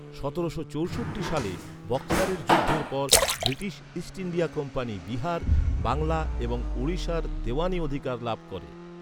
সতেরোশো চৌষট্টি সালে বক্সারের যুদ্ধের পর, British East India company Bihar, Bangla এবং ওড়িশার দিওয়ানি অধিকার লাভ করে।